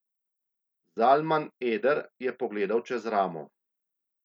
Zalman Eder je pogledal čez ramo.